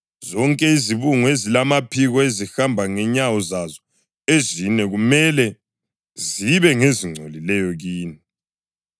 Zonke izibungu ezilamaphiko ezihamba ngenyawo zazo ezine kumele zibe ngezingcolileyo kini.